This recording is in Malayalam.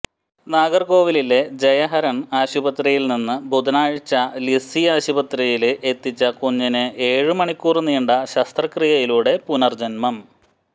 നാഗര്കോവിലിലെ ജയഹരണ് ആശുപത്രിയില്നിന്ന് ബുധനാഴ്ച ലിസി ആശുപത്രിയില് എത്തിച്ച കുഞ്ഞിന് ഏഴ് മണിക്കൂര് നീണ്ട ശസ്ത്രക്രിയയിലൂടെ പുനര്ജന്മം